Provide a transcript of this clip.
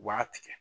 U b'a tigɛ